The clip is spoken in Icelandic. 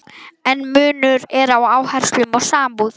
En munur er á áherslum og samúð.